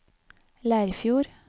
Leirfjord